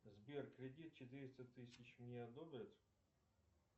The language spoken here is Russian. сбер кредит четыреста тысяч мне одобрят